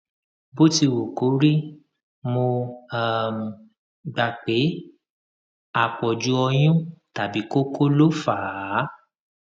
bó ti wù kó rí mo um gbà pé àpọjù ọyún tàbí kókó ló fà á